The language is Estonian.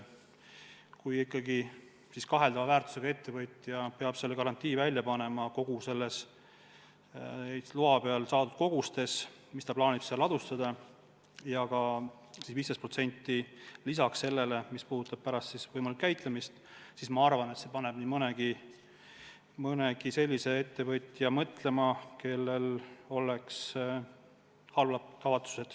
Kui ikkagi kaheldava mainega ettevõtja peab selle garantii andma kogu ehitusloal kirjas olevate koguste kohta, mis ta plaanib ladustada, ja veel 15% lisaks sellele, mis puudutab pärast võimalikku käitlemist, siis ma arvan, et see paneb nii mõnegi halbade kavatsustega ettevõtja mõtlema.